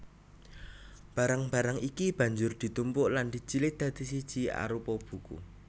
Barang barang iki banjur ditumpuk lan dijilid dadi siji arupa buku